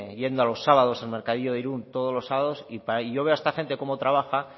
yendo los sábados al mercadillo de irun todos los sábados y yo veo a esta gente cómo trabaja